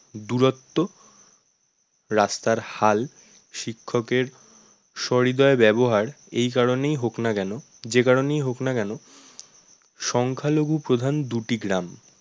দূরত্ব, রাস্তার হাল, শিক্ষকের সহৃদয় ব্যবহার এই কারনেই হোক না কেন যে কারণেই হোক না কেন সংখ্যালঘুপ্রধান দুটি গ্রাম